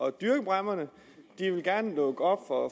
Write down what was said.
at dyrke bræmmerne og de vil gerne lukke op for